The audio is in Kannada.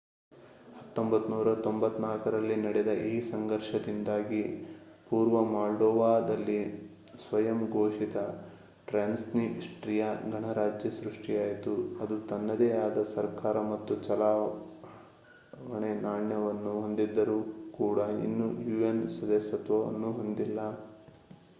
1994 ರಲ್ಲಿ ನಡೆದ ಈ ಸಂಘರ್ಷದಿಂದಾಗಿ ಪೂರ್ವ ಮೊಲ್ಡೊವಾದಲ್ಲಿ ಸ್ವಯಂ ಘೋಷಿತ ಟ್ರಾನ್ಸ್ನಿಸ್ಟ್ರಿಯಾ ಗಣರಾಜ್ಯ ಸೃಷ್ಟಿಯಾಯಿತು ಅದು ತನ್ನದೇ ಆದ ಸರ್ಕಾರ ಮತ್ತು ಚಲಾವಣೆ ನಾಣ್ಯವನ್ನು ಹೊಂದಿದ್ದರೂ ಕೂಡ ಇನ್ನೂ ಯುಎನ್ ಸದಸ್ಯತ್ವವನ್ನು ಹೊಂದಿಲ್ಲ